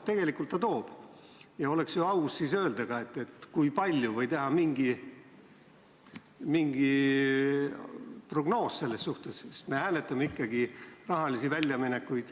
Tegelikult ta toob ja oleks aus ka öelda, kui palju, või teha selles suhtes mingi prognoos, sest me hääletame ikkagi riigi rahalisi väljaminekuid.